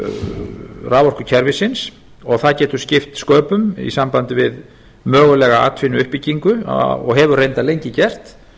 afhendingarmöguleikum raforkukerfisins og það getur skipt sköpum í sambandi við mögulega atvinnuuppbyggingu og hefur reyndar lengi gert